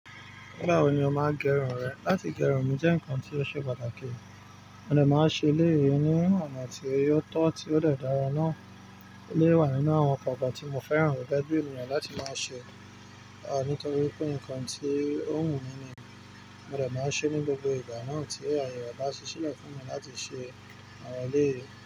Nígbà wo ni o máa gẹrun rẹ? Láti gẹrun mi jẹ́ ǹkan tí ó ṣe pàtàkì, mo dè máa ṣe ilé iye ní onà tí ó tọ́ tí ó dẹ̀ dára náà. Ilé wà nínú àwọn ọ̀gá tí mo fẹ́ràn gẹ́gẹ́ bì ènìyàn láti máa ṣe, à nítorí pé ǹkan tí ó wù mí ni, mo dè máa ṣe ní gbogbo ìgbà náà tí ayẹyẹ ọba ṣe ṣẹlẹ̀ fún mi láti ṣe àwọn ilé.